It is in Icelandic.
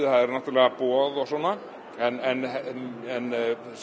það eru náttúrulega boð og svona en